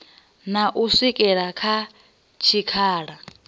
na u swikela kha tshikhala